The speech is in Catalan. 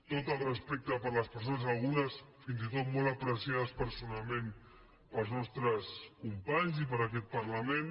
tot el respecte per les persones algu·nes fins i tot molt apreciades personalment pels nos·tres companys i per aquest parlament